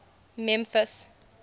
memphis